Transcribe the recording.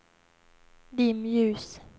dimljus